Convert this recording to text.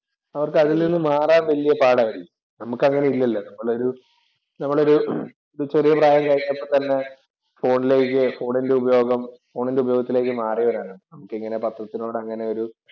അവർക്ക് അതിൽ നിന്നും മാറാൻ വലിയ പാടായിരിക്കും. നമ്മക്ക് അങ്ങനെ ഇല്ലല്ലോ. നമ്മൾ ഒരു നമ്മൾ ഒരു ചെറിയ പ്രായം കഴിഞ്ഞപ്പോൾ തന്നെ ഫോണിലേക്ക് ഫോണിന്‍റെ ഉപയോഗം ഫോണിന്‍റെ ഉപയോഗത്തിലേക്ക് മാറിയവരാണ്. നമുക്കങ്ങനെ പത്രത്തിനോട് അങ്ങനെ ഒരു